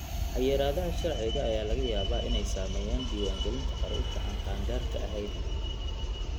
Xayiraadaha sharciga ayaa laga yaabaa inay saameeyaan diiwaangelinta carruurta aan qaangaarka ahayn.